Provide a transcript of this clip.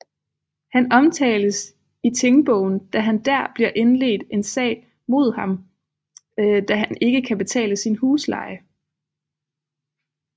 Han omtales i Tingbogen da han der bliver indledt en sag mod ham da han ikke kan betale sin husleje